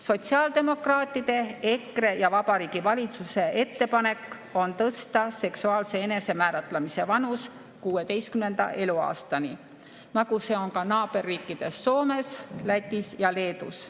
Sotsiaaldemokraatide, EKRE ja Vabariigi Valitsuse ettepanek on tõsta seksuaalse enesemääratlemise vanus 16. eluaastani, nagu see on ka naaberriikides Soomes, Lätis ja Leedus.